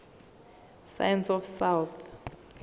science of south